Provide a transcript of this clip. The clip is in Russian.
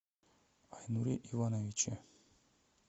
айнуре ивановиче